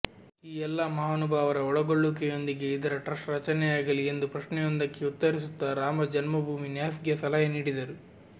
ಈ ಎಲ್ಲಾ ಮಹಾನುಭಾವರ ಒಳಗೊಳ್ಳುವಿಕೆಯೊಂದಿಗೆ ಇದರ ಟ್ರಸ್ಟ್ ರಚನೆಯಾಗಲಿ ಎಂದು ಪ್ರಶ್ನೆಯೊಂದಕ್ಕೆ ಉತ್ತರಿಸುತ್ತಾ ರಾಮ ಜನ್ಮಭೂಮಿ ನ್ಯಾಸ್ಗೆ ಸಲಹೆ ನೀಡಿದರು